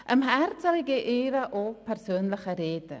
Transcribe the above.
Am Herzen liegen ihr auch persönliche Reden.